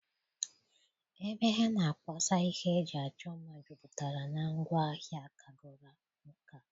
Ebe ha na-akpọsa ihe eji achọ mma jupụtara na ngwaa hịa kagoro nkà.